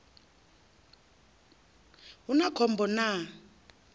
hu na khom bo na